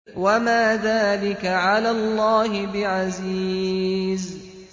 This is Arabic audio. وَمَا ذَٰلِكَ عَلَى اللَّهِ بِعَزِيزٍ